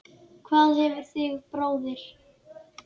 Hvað tefur þig bróðir?